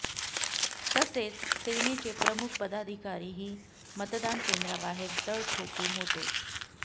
तसेच सेनेचे प्रमुख पदाधिकारीही मतदान केंद्राबाहेर तळ ठोकून होते